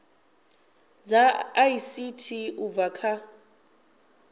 dza ict u bva kha